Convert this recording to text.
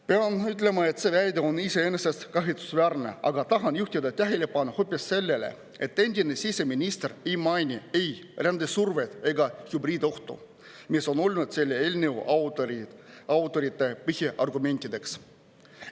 " Pean ütlema, et see väide on iseenesest kahetsusväärne, aga tahan juhtida tähelepanu hoopis sellele, et endine siseminister ei maininud ei rändesurvet ega hübriidohtu, mis on olnud selle eelnõu autorite põhiargumentideks.